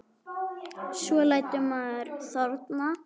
Svo lætur maður þorna.